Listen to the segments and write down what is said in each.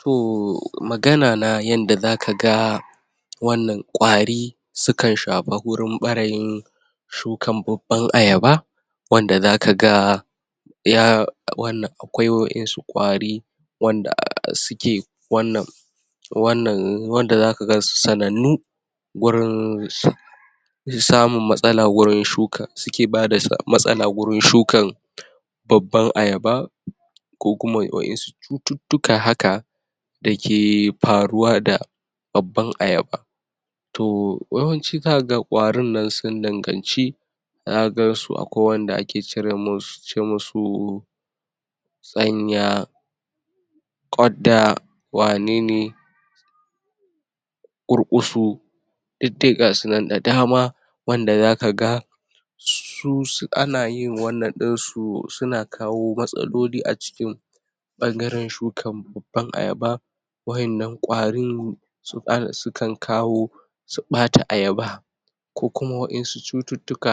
To magana na yanda zakaga wannan ƙwari sukan shafi wurin ɓarayin shukan babban ayaba wadda zakaga ya wannan akwai waƴansu ƙwari wanda suke wannan wannan wanda zaka gansu sanannu gurin samun matsala wurin shuka suke bada matsala wurin shukan babban ayaba ko kuma waƴansu cututtuka haka da ke faruwa da babban ayaba. To yawanci kaga ƙwarin nan sun danganci zaka gansu akwai wanda ake cire musu ce musu tsanya, ƙwadda, wanene ƙurƙusu duk dai gasu nan da dama wanda zakaga su su ana yin wannan ɗinsu suna kawo matsaloli a cikin ɓangaren shukan babban ayaba waƴannan ƙwarin sukan sukan kawo su ɓata ayaba ko kuma waƴansu cututtuka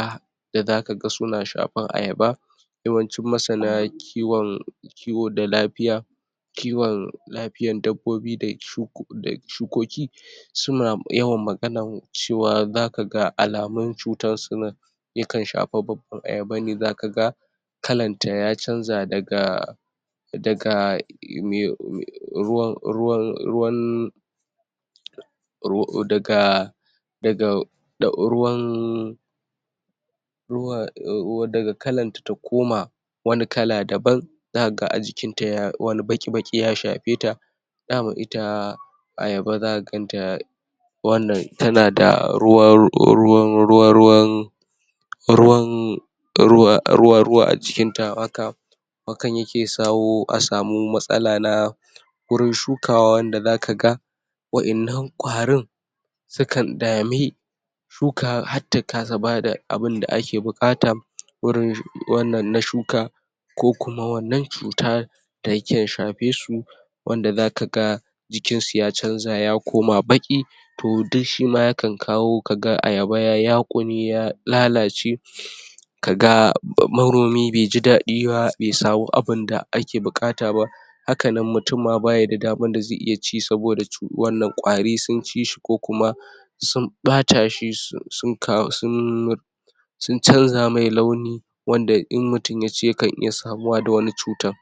da zakaga suna shafan ayaba yawancin masana kiwon kiwo da lafiya kiwon lafiyan dabbobi da shuko da shukoki suna yawan maganan cewa zakaga alamun cutan suna ya kan shafa babban ayaba ne zakaga kalan ta ya canza daga daga me ruwan ruwan ruwan ru daga daga ɗa ruwan ruwa um daga kalanta ta koma wani kala daban zakaga a jikinta ya wani baƙi baƙi ya shafe ta daman ita ayaba zaka ganta wannan tana da ruwan ruwan ruwa ruwan ruwan ruwa ruwa ruwa a jikinta haka hakan yake sawo a samu matsala na wurin shukawa wanda zakaga waƴannan ƙwarin sukan dami shuka hatta kasa bada abinda ake buƙata wurin wannan na shuka ko kuma wannan cuta da ke shafe su wanda zakaga jikinsu ya canza ya koma baƙi to duk shima yakan kawo kaga ayaba ya yaƙune ya lalace kaga manomi be ji ɗaɗi ba be samu abinda ake buƙata ba haka nan mutum ma baya da damar da zai iya ci saboda cu wannan ƙwari sun ci shi ko kuma sun ɓata shi su sun ka sun sun canza mai launi wanda in mutum yaci yakan iya samuwa da wani cutan.